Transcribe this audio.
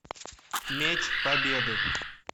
меч победы